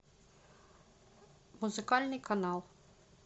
музыкальный канал